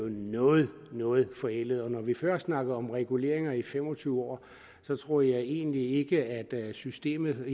noget noget forældet og når vi før snakkede om reguleret i fem og tyve år tror jeg egentlig ikke at systemet